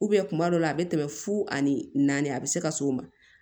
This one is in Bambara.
kuma dɔw la a be tɛmɛ fu ani naani a be se ka s'o ma